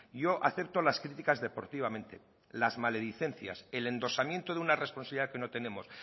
yo acepto las críticas deportivamente las maledicencias el endosamiento de una responsabilidad que no tenemos